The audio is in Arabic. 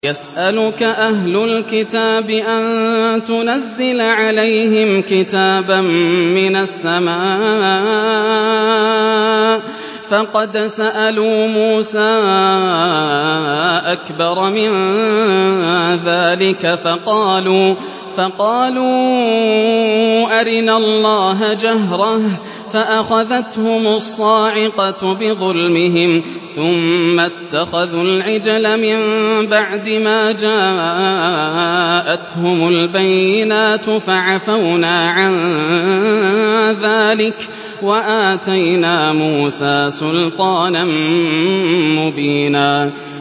يَسْأَلُكَ أَهْلُ الْكِتَابِ أَن تُنَزِّلَ عَلَيْهِمْ كِتَابًا مِّنَ السَّمَاءِ ۚ فَقَدْ سَأَلُوا مُوسَىٰ أَكْبَرَ مِن ذَٰلِكَ فَقَالُوا أَرِنَا اللَّهَ جَهْرَةً فَأَخَذَتْهُمُ الصَّاعِقَةُ بِظُلْمِهِمْ ۚ ثُمَّ اتَّخَذُوا الْعِجْلَ مِن بَعْدِ مَا جَاءَتْهُمُ الْبَيِّنَاتُ فَعَفَوْنَا عَن ذَٰلِكَ ۚ وَآتَيْنَا مُوسَىٰ سُلْطَانًا مُّبِينًا